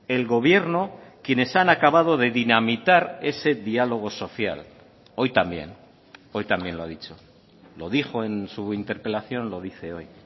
el gobierno quienes han acabado de dinamitar ese diálogo social hoy también hoy también lo ha dicho lo dijo en su interpelación lo dice hoy